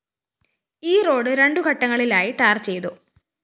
ഈ റോഡ്‌ രണ്ടു ഘട്ടങ്ങളിലായി ടാർ ചെയ്തു